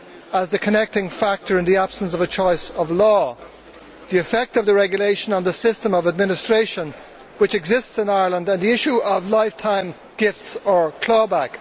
as the connecting factor in the absence of a choice of law, the effect of the regulation on the system of administration which exists in Ireland and the issue of lifetime gifts or clawback.